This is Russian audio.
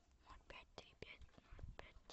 ноль пять три пять ноль пять